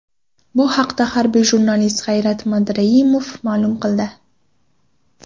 Bu haqda harbiy jurnalist G‘ayrat Madrahimov ma’lum qildi.